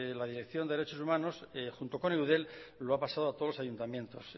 la dirección de derechos humanos junto con eudel lo ha pasado a todos los ayuntamientos